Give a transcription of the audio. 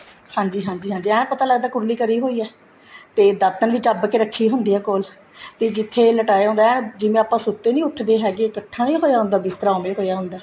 ਹਾਂਜੀ ਹਾਂਜੀ ਐਨ ਪਤਾ ਲੱਗਦਾ ਕੁਰਲੀ ਕਰੀ ਹੋਈ ਹੈ ਤੇ ਦਾਤਨ ਵੀ ਚੱਬ ਕੇ ਰੱਖੀ ਹੁੰਦੀ ਹੈ ਕੋਲ ਕੇ ਜਿੱਥੇ ਲਟਾਇਆ ਹੁੰਦਾ ਜਿਵੇਂ ਆਪਾਂ ਸੁੱਤੇ ਨਹੀਂ ਉੱਠਦੇ ਹੈਗੇ ਇੱਕਠਾ ਨਹੀਂ ਹੋਇਆ ਹੁੰਦਾ ਬਿਸਤਰਾਂ ਉਹ ਵੇ ਹੋਇਆ ਹੁੰਦਾ